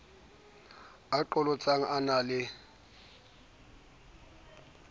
a qholotsang a na le